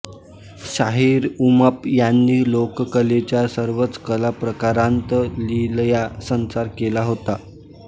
शाहिर उमप यांनी लोककलेच्या सर्वच कलाप्रकारांत लीलया संचार केला होता